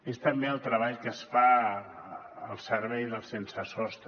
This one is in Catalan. és també el treball que es fa al servei dels sensesostre